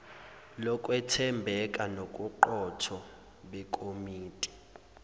lokwethembeka nobuqotho bekomiti